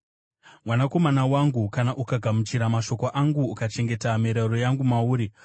Mwanakomana wangu, kana ukagamuchira mashoko angu, ukachengeta mirayiro yangu mauri,